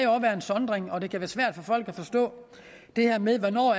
være en sondring og det kan være svært for folk at forstå det her med hvornår